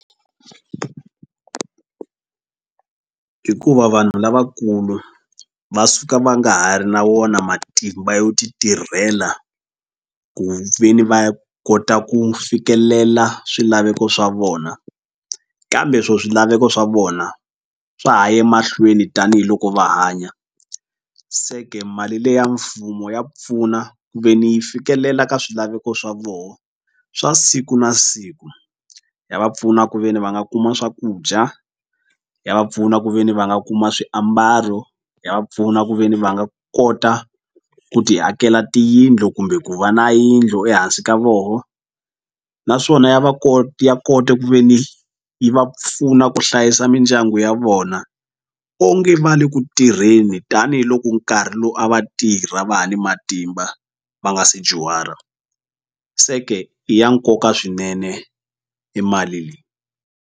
Hikuva vanhu lavakulu va suka va nga ha ri na wona matimba yo ti tirhela ku veni va kota ku fikelela swilaveko swa vona kambe swo swilaveko swa vona swa ha ye mahlweni tanihiloko va hanya se ke mali leya mfumo ya pfuna ku ve ni yi fikelela ka swilaveko swa voho swa siku na siku ya va pfuna ku ve ni va nga kuma swakudya ya va pfuna ku ve ni va nga kuma swiambalo ya va pfuna ku ve ni va nga kota ku ti akela tiyindlu kumbe ku va na yindlu ehansi ka voho naswona va ya kota ku ve ni yi va pfuna ku hlayisa mindyangu ya vona onge va le ku tirheni tanihiloko nkarhi lowu a va tirha va ha ni matimba va nga se dyuhara se ke i ya nkoka swinene e mali leyi.